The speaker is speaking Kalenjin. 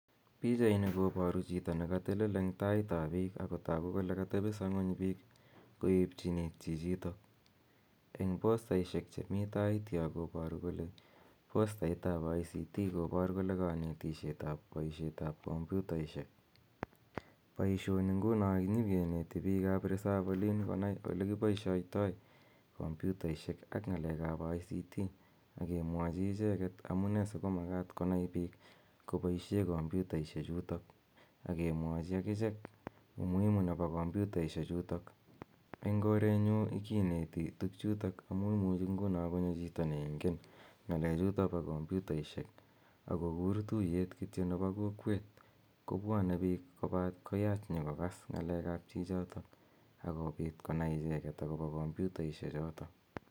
Pichaini koparu chito ne katelel eng' tait ap piik ako tagu kole katepisa ng'uny piik koepchin iit chichitok. Eng' postaishek che mi tai yo koparu kole postaitap ICT kopar kole kanetishetap poishetap kompyutaishek. Poishoni nguno nyi kineti piik ap resop olin konai ole kipaishaitai kompyutaishek ak ng'alek ap ICT ake mwachi icheget amu ne si komakat konai piik kopaishe kompyutaishechutok ake kachi akichek umuhimu nepo kompitaishechutok. Eng' koret nyu kineti tugchutok amu imuchi nguno konyo chito neigen ng'alechutok po komputaishek ako kur tuyet kityo nepo kokweet, kopwane piik koyach nyi kokas ng'aleek ap chichotok ako pit konai icheget akopa kompyutaishechotok.